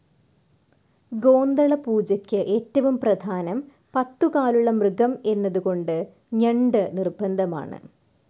ഗോന്തള പൂജയ്ക്ക് ഏറ്റവും പ്രധാനം പത്തുകാലുള്ള മൃഗം എന്നതുകൊണ്ട് ഞണ്ട് നിർബന്ധമാണ്.